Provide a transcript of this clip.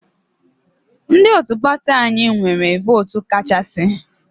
Ndị otu pati anyị nwere vootu kachasị.